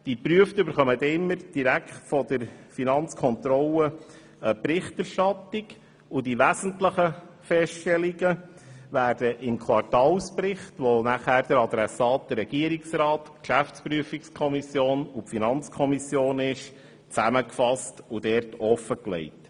Die Geprüften erhalten jeweils direkt von der Finanzkontrolle eine Berichterstattung, und die wesentlichen Feststellungen werden im Quartalsbericht gegenüber dessen Adressaten Regierungsrat, GPK und FiKo zusammengefasst und offengelegt.